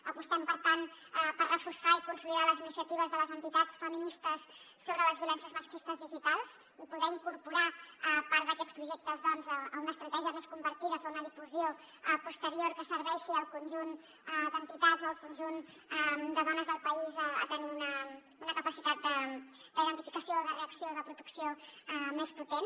apostem per tant per reforçar i consolidar les iniciatives de les entitats feministes sobre les violències masclistes digitals i poder incorporar part d’aquests projectes doncs a una estratègia més compartida fer una difusió posterior que serveixi al conjunt d’entitats o al conjunt de dones del país a tenir una capacitat d’identificació o de reacció o de protecció més potent